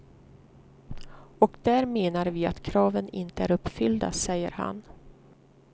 Och där menar vi att kraven inte är uppfyllda, säger han.